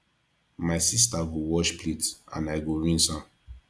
my sister go wash plate and i go rinse am